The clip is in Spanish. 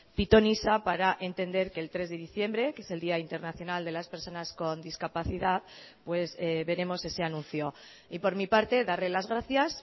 pitonisa para entender que el tres de diciembre que es el día internacional de las personas con discapacidad pues veremos ese anuncio y por mi parte darle las gracias